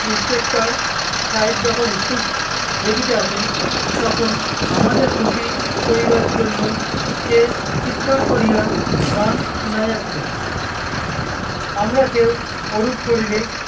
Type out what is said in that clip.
inspector সাহেব যখন school দেখিতে আসেন, তখন আমাদের খুশি করিবার জন্য সে চিৎকার করিয়া গান শুনাইয়াছিল। আমরা কেউ ওরূপ করিলে